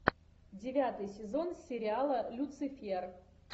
девятый сезон сериала люцифер